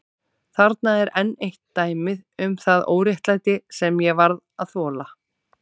Þarna er enn eitt dæmið um það óréttlæti sem ég varð að þola.